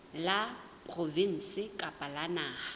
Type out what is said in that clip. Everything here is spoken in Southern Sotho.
la provinse kapa la naha